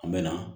An bɛ na